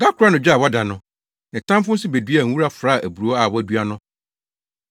Da koro anadwo a wada no, ne tamfo nso beduaa nwura fraa aburow a wadua no.